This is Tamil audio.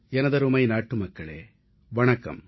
எனதருமை நாட்டுமக்களே வணக்கம்